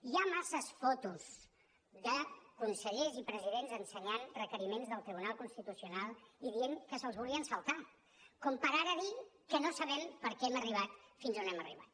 hi ha massa fotos de consellers i presidents ensenyant requeriments del tribunal constitucional i dient que se’ls volien saltar com per ara dir que no sabem per què hem arribar fins on hem arribat